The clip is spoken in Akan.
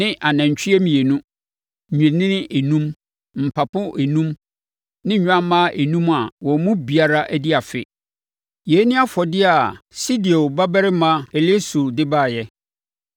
ne anantwie mmienu, nnwennini enum, mpapo enum ne nnwammaa enum a wɔn mu biara adi afe. Yei ne afɔdeɛ a Sedeur babarima Elisur de baeɛ.